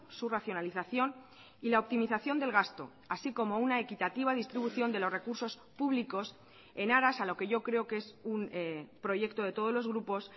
su racionalización y la optimización del gasto así como una equitativa distribución de los recursos públicos en aras a lo que yo creo que es un proyecto de todos los grupos